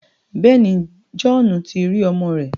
Bẹẹni, Johhnu ti ri ọmọ rẹ